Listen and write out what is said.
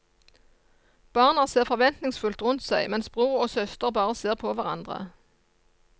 Barna ser forventningsfullt rundt seg mens bror og søster bare ser på hverandre.